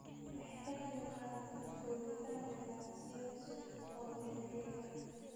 Waxay ka qaybqaadataa abuuritaanka ganacsiyo cusub oo beeralay ah.